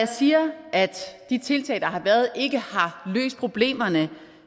siger at de tiltag der har været ikke har løst problemerne